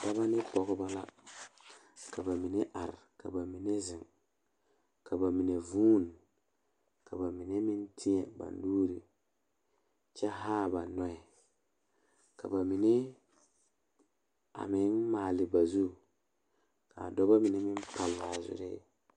Dɔɔba ba ba zeŋ leɛ la ba puori ko zie ba naŋ daare bayi zeŋ ta la teŋa bata vɔgle la sapele naŋ waa peɛle bonyene vɔgle sapele naŋ e sɔglɔ ba taa la ba tontuma boma kaa waa buluu.